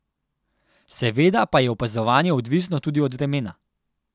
Seveda pa je opazovanje odvisno tudi od vremena ...